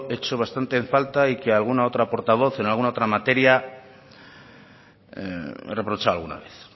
echo bastante en falta y que alguna otra portavoz en alguna otra materia me ha reprochado alguna vez